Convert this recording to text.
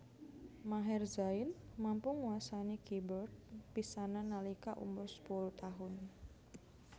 Maher Zain mampu nguasani keybord pisanan nalika umur sepuluh taun